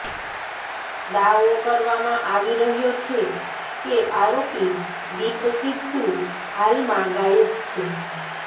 દાવો કરવામાં આવી રહ્યો છે કે આરોપી દીપ સિદ્ધુ હાલમાં ગાયબ છે